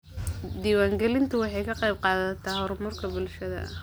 Diiwaangelintu waxay ka qaybqaadataa horumarka bulshada.